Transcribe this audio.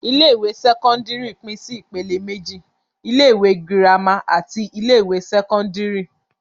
Ilé-ìwé sẹ́kọ́ndárì pín sí ìpèlè méjì. Ilé-ìwé girama àti ilé-ìwé sẹ́kọ́ndárì.